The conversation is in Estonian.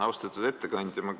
Austatud ettekandja!